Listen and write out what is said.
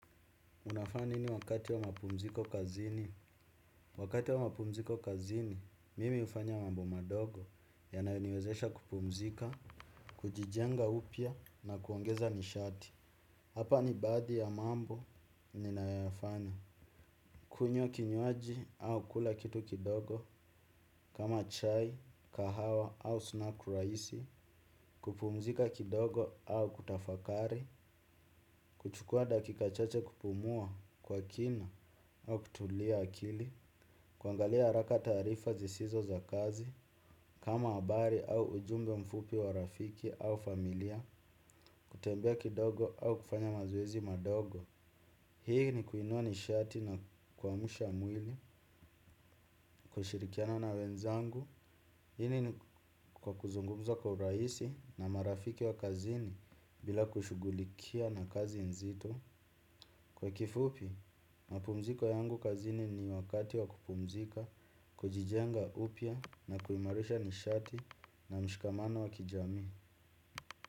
Unafanya nini wakati wa mapumziko kazini? Wakati wa mapumziko kazini, mimi hufanya mambo madogo yanayoniwezesha kupumzika, kujijenga upya na kuongeza nishati. Hapa ni baadhi ya mambo, ninayoyafanya. Kunywa kinywaji au kula kitu kidogo, kama chai, kahawa au snack rahisi, kupumzika kidogo au kutafakari, kuchukua dakika chache kupumua kwa kina au kutulia akili. Kuangalia haraka taarifa zisizo za kazi. Kama habari au ujumbe mfupi wa rafiki au familia. Kutembea kidogo au kufanya mazoezi madogo. Hii ni kuinua nishati na kuamsha mwili. Kushirikiana na wenzangu. Hili ni kwa kuzungumza kwa urahisi na marafiki wa kazini. Bila kushughulikia na kazi nzito. Kwa kifupi, mapumziko yangu kazini ni wakati wa kupumzika, kujijenga upya na kuimarisha nishati na mshikamano wa kijamii.